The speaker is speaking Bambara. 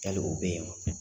Yali o bɛ ye wa?